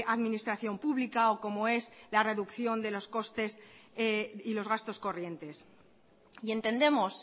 administración pública o como es la reducción de los costes y los gastos corrientes y entendemos